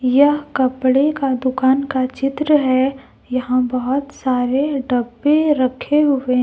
यह कपड़े के दुकान का चित्र है यहां बहोत सारे डब्बे रखे हुए --